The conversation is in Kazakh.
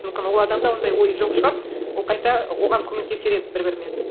мүмкін ол адамда ондай ой жоқ шығар ол қайта оған көмектесер еді бір бірімен